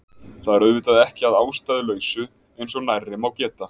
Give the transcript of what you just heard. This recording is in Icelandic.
Það er auðvitað ekki að ástæðulausu eins og nærri má geta